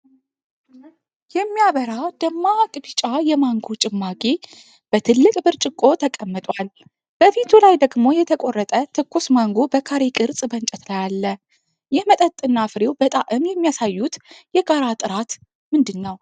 የሚያበራ ደማቅ ቢጫ የማንጎ ጭማቂ በትልቅ ብርጭቆ ተቀምጧል፤ በፊቱ ላይ ደግሞ የተቆረጠ ትኩስ ማንጎ በካሬ ቅርጽ በእንጨት ላይ አለ። ይህ መጠጥና ፍሬው በጣዕም የሚያሳዩት የጋራ ጥራት ምንድን ነው?